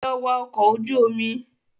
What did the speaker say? Lọ wá ọkọ̀ ojú omi